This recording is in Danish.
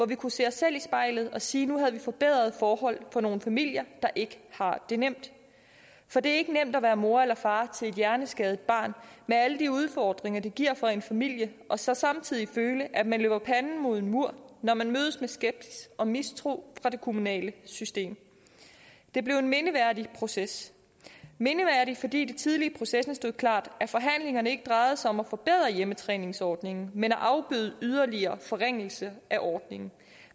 vi kunne se os selv i spejlet og sige at nu havde vi forbedret forholdene for nogle familier der ikke har det nemt for det er ikke nemt at være mor eller far til et hjerneskadet barn med alle de udfordringer det giver for en familie og så samtidig føle at man løber panden mod en mur når man mødes med skepsis og mistro fra det kommunale system det blev en mindeværdig proces mindeværdig fordi det tidligt i processen stod klart at forhandlingerne ikke drejede sig om at forbedre hjemmetræningsordningen men om at afbøde en yderligere forringelse af ordningen